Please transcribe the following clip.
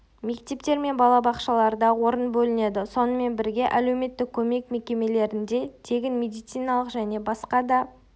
мектептер мен бала-бақшаларда орын бөлінеді сонымен бірге әлеуметтік көмек мекемелерінде тегін медициналық және басқа да